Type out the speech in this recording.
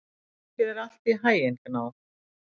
Gangi þér allt í haginn, Gná.